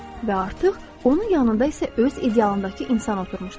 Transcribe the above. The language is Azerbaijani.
Və artıq onun yanında isə öz idealındakı insan oturmuşdu.